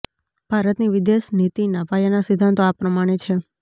ભારતની વિદેશ નીતિના પાયાના સિદ્ધાંતો આ પ્રમાણે છે